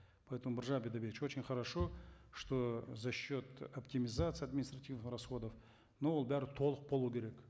поэтому биржан бидайбекович очень хорошо что за счет оптимизации административных расходов но ол бәрі толық болу керек